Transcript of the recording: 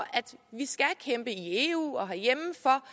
vi skal kæmpe i eu og herhjemme